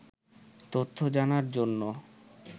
তথ্য জানার জন্য